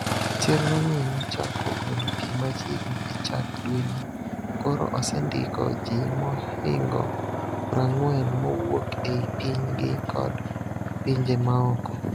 Chenro ni no chako golo pii machiegni e chak dweni, koro osendiko ji mahingo 40 mowuok ei piny gi kod pinje maoko.